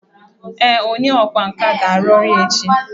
Ee, onye ọkwá nkà ga-arụ ọrụ ya echi